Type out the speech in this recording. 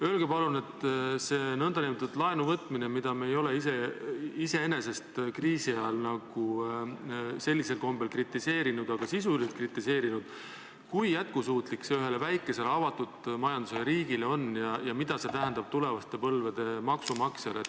Öelge palun, see nn laenuvõtmine, mida me ei ole iseenesest kriisi ajal sellisel kombel kritiseerinud, aga sisuliselt kritiseerides, kui jätkusuutlik see ühele väikesele avatud majandusega riigile on ja mida see tähendab tulevaste põlvede maksumaksjatele.